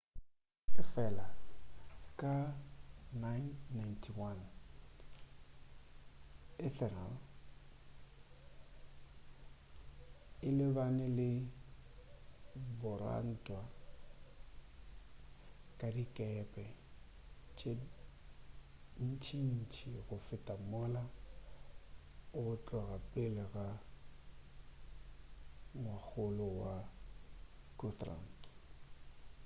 efela ka 991 ethelred o lebane le borantwa ba dikepe tše ntšintši go feta mola go tloga pele ga ngwakgolo wa guthrum